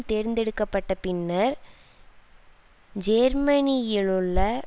தேர்ந்தெடுக்க பட்ட பின்னர் ஜேர்மனியிலுள்ள